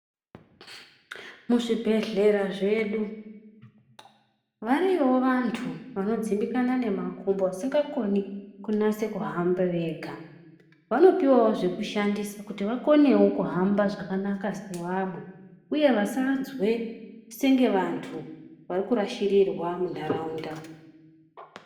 Muzvibhedhlera zvedu variyo vantu vanodzimbika nemakumbo vasingakoni kunyaso kuhambe Vega vanopiwawo zvekushandisa kuti vakonewo kuhamba zvakanaka sevamwe uye vasanzwe sevantu vari kurashirirwa mundaraunda.